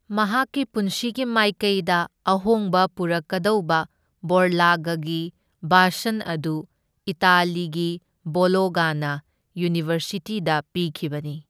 ꯃꯍꯥꯛꯀꯤ ꯄꯨꯟꯁꯤꯒꯤ ꯃꯥꯏꯀꯩꯗ ꯑꯍꯣꯡꯕ ꯄꯨꯔꯛꯀꯗꯧꯕ ꯕꯣꯔꯂꯥꯒꯒꯤ ꯚꯥꯁꯟ ꯑꯗꯨ ꯏꯇꯥꯂꯤꯒꯤ ꯕꯣꯂꯣꯒꯅ ꯌꯨꯅꯤꯚꯔꯁꯤꯇꯤꯗ ꯄꯤꯈꯤꯕꯅꯤ꯫